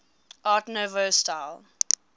art nouveau style